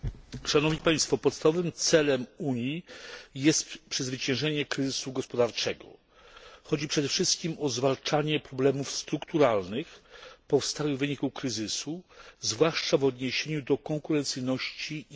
Podstawowym celem Unii jest przezwyciężenie kryzysu gospodarczego. Chodzi przede wszystkim o zwalczanie problemów strukturalnych powstałych w wyniku kryzysu, zwłaszcza w odniesieniu do konkurencyjności i zatrudnienia.